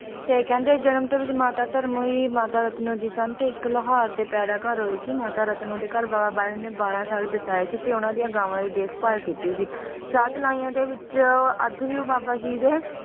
ਤੇ ਕਹਿੰਦੇ ਜਨਮ ਤੋਂ ਹੀ ਮਾਤਾ ਧਰਮੋਂ ਹੀ ਮਾਤਾ ਰਤਨੋ ਜੀ ਸਨ ਤੇ ਇੱਕ ਲੌਹਾਰ ਦੇ ਪੈਦਾ ਘਰ ਹੋਏ ਸੀ ਮਾਤਾ ਰਤਨੋ ਦੇ ਘਰ ਬਾਬਾ ਬਾਲਕ ਨਾਥ ਨੇ ਬਾਰਾਂ ਸਾਲ ਬਿਤਾਏ ਸੀ ਤੇ ਉਹਨਾਂ ਦੀਆਂ ਗਾਵਾਂ ਦੀ ਦੇਖਭਾਲ ਕੀਤੀ ਸੀ ਸ਼ਾਹਤਲਾਈਆਂ ਦੇ ਵਿੱਚ ਅੱਜ ਵੀ ਉਹ ਬਾਬਾ ਜੀ ਦੇ